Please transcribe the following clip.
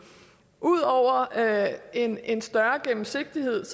ud over en en større gennemsigtighed